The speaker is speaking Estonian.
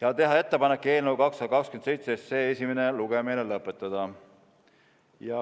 ja teha ettepanek eelnõu 227 esimene lugemine lõpetada .